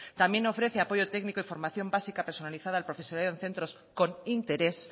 también ofrece apoyo técnico y formación básica personalizada al profesorado en centros con interés